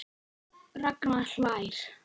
Ragnar hlær.